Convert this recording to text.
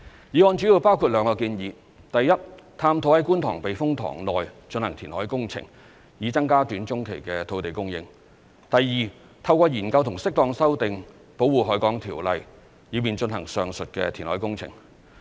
議案主要包括兩個建議，第一，探討於觀塘避風塘內進行填海工程，以增加短中期土地供應；第二，透過研究和適當修訂《保護海港條例》，以便進行上述填海工程。